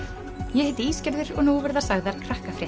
ég heiti og nú verða sagðar